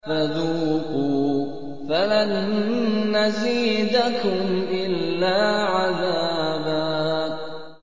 فَذُوقُوا فَلَن نَّزِيدَكُمْ إِلَّا عَذَابًا